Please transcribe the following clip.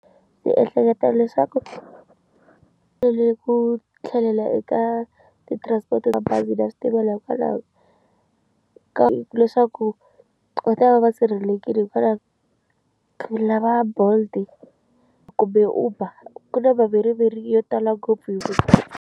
Ndzi ehleketa leswaku tele ku tlhelela eka ti-transport ta bazi na switimela hikwalaho ka ku leswaku va ta va va sirhelelekile hikwalaho lava bolt kumbe uber ku na maveriveri yo tala ngopfu hi.